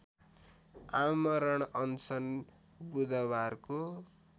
आमरण अनसन बुधवारको